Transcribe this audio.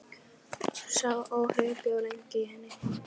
Sá óhugur bjó lengi í henni.